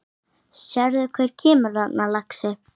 Sérðu hver kemur þarna, lagsi?